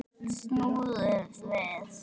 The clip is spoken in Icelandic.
Snúðu við.